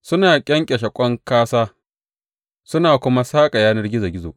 Suna ƙyanƙyashe ƙwan kāsā su kuma saƙa yanar gizo gizo.